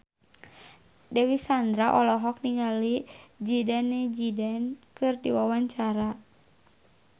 Dewi Sandra olohok ningali Zidane Zidane keur diwawancara